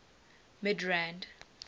midrand